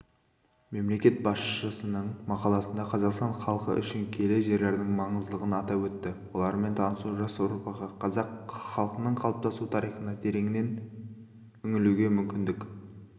мемлекет басшысыныңмақаласында қазақстан халқы үшін киелі жерлердің маңыздылығын атап өтті олармен танысу жас ұрпаққа қазақ халқының қалыптасу тарихына тереңінен үңілуге мүмкіндік